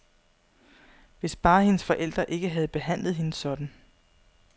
Hvis bare hendes forældre ikke havde behandlet hende sådan.